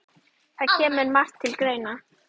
Það kemur margt til greina